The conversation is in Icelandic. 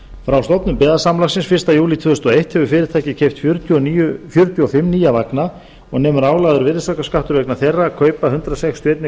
frá stofnun byggðasamlagsins fyrsta júlí tvö þúsund og eitt hefur fyrirtækið keypt fjörutíu og fimm nýja vagna og nemur álagður virðisaukaskattur vegna þeirra kaupa hundrað sextíu og einn